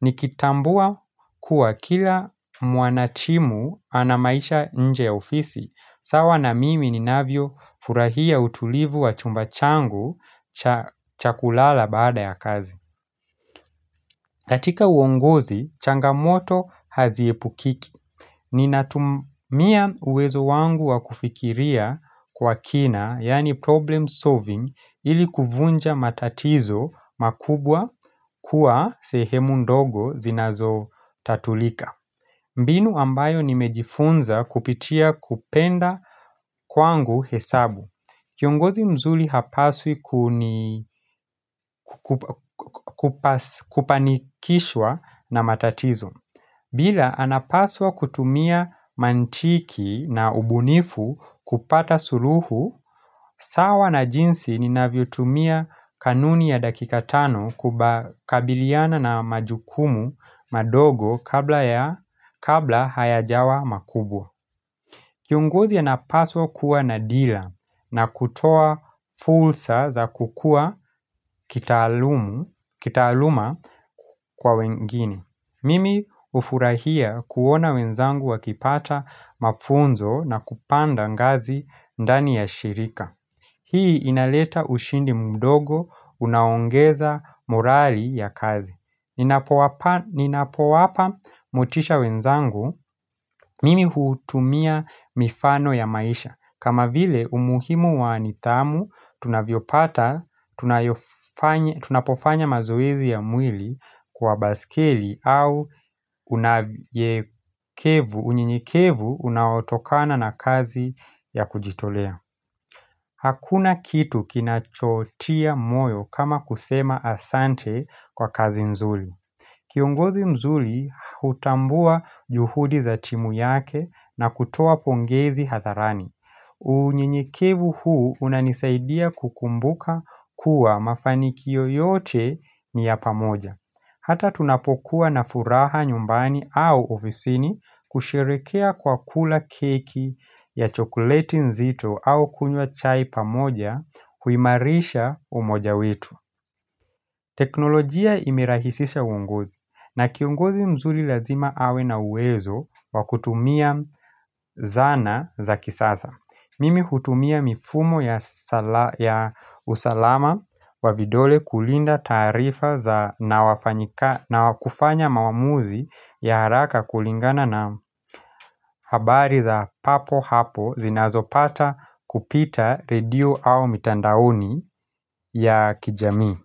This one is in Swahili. Nikitambua kuwa kila mwanatimu ana maisha nje ya ofisi, sawa na mimi ninavyo furahia utulivu wa chumba changu cha kulala baada ya kazi. Katika uongozi, changamoto haziepukiki Ninatumia uwezo wangu wa kufikiria kwa kina yaani problem solving ili kuvunja matatizo makubwa kuwa sehemu ndogo zinazotatulika mbinu ambayo nimejifunza kupitia kupenda kwangu hesabu. Kiongozi mzuri hapaswi kupanikishwa na matatizo Ila anapaswa kutumia mantiki na ubunifu kupata suluhu, sawa na jinsi ninavyotumia kanuni ya dakika tano kukabiliana na majukumu madogo kabla ya kabla hayajawa makubwa. Kiongozi anapaswa kuwa na dira na kutoa fursa za kukua kitaaluma kwa wengine. Mimi hufurahia kuona wenzangu wakipata mafunzo na kupanda ngazi ndani ya shirika. Hii inaleta ushindi mdogo, unaongeza morali ya kazi. Ninapowapa Ninapowapa motisha wenzangu, mimi hutumia mifano ya maisha. Kama vile umuhimu wa nidhamu tunavyopata tunapofanya mazoezi ya mwili kwa baskeli au unyenyekevu unaotokana na kazi ya kujitolea Hakuna kitu kinachotia moyo kama kusema asante kwa kazi nzuri Kiongozi mzuri hutambua juhudi za timu yake na kutoa pongezi hadharani unyenyekevu huu unanisaidia kukumbuka kuwa mafanikio yote ni ya pamoja Hata tunapokuwa na furaha nyumbani au ofisini kusherehekea kwa kula keki ya chokoleti nzito au kunywa chai pamoja huimarisha umoja wetu teknolojia imerahisisha uongozi na kiongozi mzuri lazima awe na uwezo wa kutumia zana za kisasa. Mimi hutumia mifumo ya ya usalama wa vidole kulinda taarifa za, na wafanyika, na wakufanya maamuzi ya haraka kulingana na habari za papo hapo zinazopata kupita redio au mitandaoni ya kijamii.